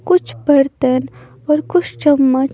कुछ बर्तन और कुछ चम्मच--